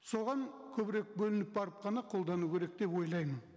соған көбірек бөлініп барып қана қолдану керек деп ойлаймын